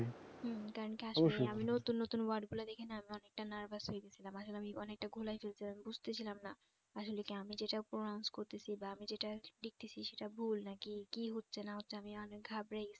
হুঁ আমি কি আসলে আমি নতুন নতুন word গুলা দেখে না অনেকটা nervous হয়ে গেছিলাম আসলে আমি অনেকটা গুলিয়ে ফেলছিলাম বুঝতেছিলাম না আসলে কি আমি যেটা pronouns করতেছি বা আমি যেটা দেখতেছি সেটা ভুল নাকি কি হচ্ছে না হচ্ছে আমি অনেক ঘাবড়েই গেছিলাম